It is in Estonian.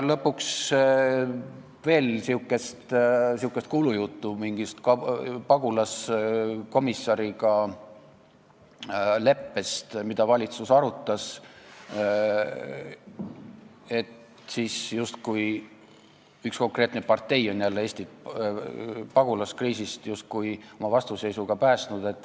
Lõpuks oli veel sihuke kuulujutt mingist leppest pagulasasjade komissariga, mida valitsus oli arutanud, et justkui üks konkreetne partei oleks jälle oma vastuseisuga Eesti päästnud.